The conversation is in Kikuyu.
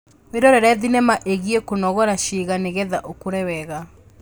Wĩrorere thenema ĩĩgiĩ kũnogora ciĩga nĩgetha ũkũre wega